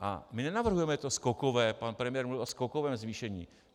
A my nenavrhujeme to skokové - pan premiér mluvil o skokovém zvýšení.